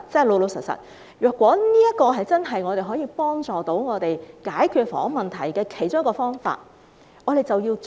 老實說，如果這是真正可以幫助我們解決房屋問題的其中一個方法，我們便應該要做。